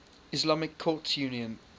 islamic courts union